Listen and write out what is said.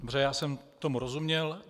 Dobře, já jsem tomu rozuměl.